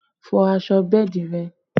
Fọ aṣọ bẹ́ẹ̀dì rẹ!